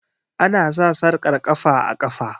Ana sa sarƙar ƙafa a ƙafa